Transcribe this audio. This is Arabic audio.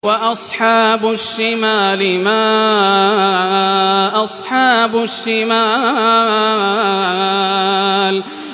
وَأَصْحَابُ الشِّمَالِ مَا أَصْحَابُ الشِّمَالِ